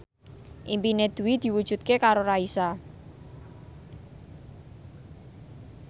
impine Dwi diwujudke karo Raisa